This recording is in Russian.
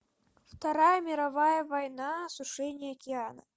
вторая мировая война осушение океана